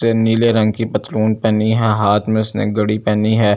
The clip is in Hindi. से नीले रंग की पथलून पहनी है हाथ में उसने घड़ी पहनी है।